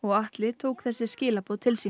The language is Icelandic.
Atli tók þessi skilaboð til sín